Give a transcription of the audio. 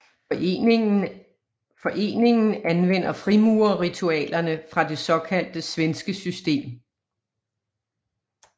Foreningen anvender frimurerritualerne fra det såkaldte svenske system